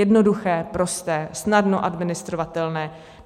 Jednoduché, prosté, snadno administrovatelné.